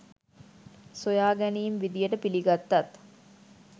සොයාගැනීම් විදියට පිළිගත්තත්